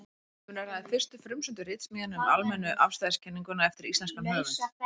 Um er að ræða fyrstu frumsömdu ritsmíðina um almennu afstæðiskenninguna eftir íslenskan höfund.